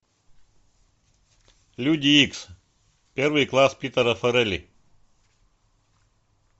люди икс первый класс питера фаррелли